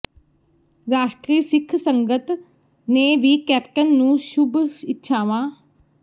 ਰਾਸ਼ਟਰੀ ਸਿੱਖ ਸੰਗਤ ਨੇ ਵੀ ਕੈਪਟਨ ਨੂੰ ਸ਼ੁੱਭ ਇੱਛਾਵਾਂ